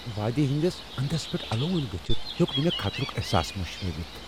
وادی ہندِس اندس پیٹھ الہو٘ند گژھِتھ ہیو٘ك نہٕ مے٘ خطرٗك احساس مشرٲوِتھ ۔